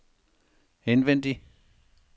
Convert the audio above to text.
indvendig